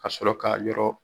Ka sɔrɔ k'a yɔrɔ